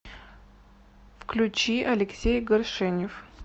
включи алексей горшенев